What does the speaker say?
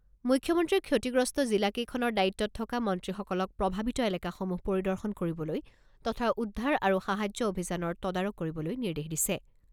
মুখ্যমন্ত্ৰীয়ে ক্ষতিগ্ৰস্ত জিলা কেইখনৰ দায়িত্বত থকা মন্ত্ৰীসকলক প্ৰভাৱিত এলেকাসমূহ পৰিদৰ্শন কৰিবলৈ তথা উদ্ধাৰ আৰু সাহায্য অভিযানৰ তদাৰক কৰিবলৈ নিৰ্দেশ দিছে।